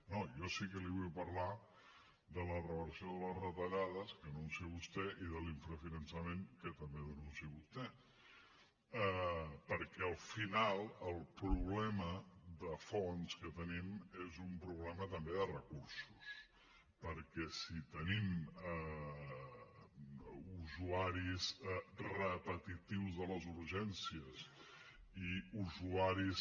no jo sí que li vull parlar de la reversió de les retallades que anuncia vostè i de l’infrafinançament que també denuncia vostè perquè al final el problema de fons que tenim és un problema també de recursos perquè si tenim usuaris repetitius a les urgències i usuaris